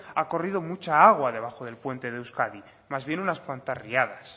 ha corrido mucha agua debajo del puente de euskadi más bien unas cuantas riadas